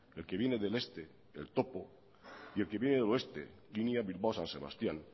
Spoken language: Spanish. el que viene del este el topo y el que viene del oeste línea bilbao san sebastián